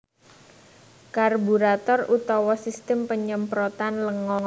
Karburator utawa sistem panyemprotan lenga